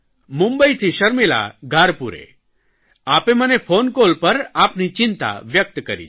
મુંબઇથી શર્મિલા ઘારપૂરે આપે મને ફોન કોલ પર આપની ચિંતા વ્યકત કરી છે